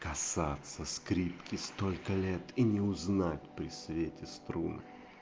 казаться скрипки столько лет и не узнать при свете струны